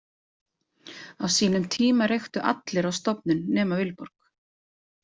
Á sínum tíma reyktu allir á stofnun nema Vilborg.